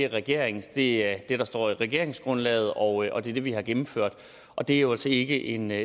regeringens det er det der står i regeringsgrundlaget og det er det vi har gennemført og det er jo altså ikke en